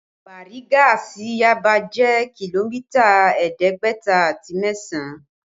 Bariga sí Yaba jẹ́ kìlómítà ẹ̀ẹ́dẹ́gbẹ̀ta àti mẹ́sàn